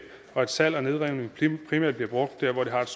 og at salg og nedrivning primært bliver brugt der hvor det har et